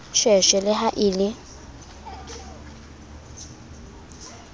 sheshe le ha e le